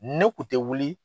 Ne kun tɛ wili